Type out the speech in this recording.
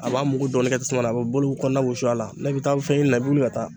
A b'a mugu dɔɔnin kɛ tasuma na, a bɛ bolo kɔnɔna wusu a la, n'i bɛ taa fɛn ɲini na i bɛ wuli ka taa.